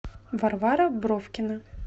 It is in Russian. варвара бровкина